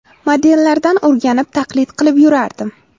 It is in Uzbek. Modellardan o‘rganib, taqlid qilib yurardim.